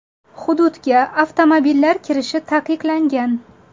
Hududga avtomobillar kirishi taqiqlangan.